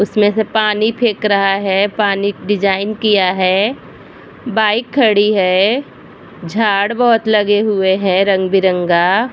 उसमे से पानी फेक रहा है। पानी डिज़ाइन किया है। बाइक खड़ी है। झाड़ बोहोत लगे हुए है रंग बिरंगा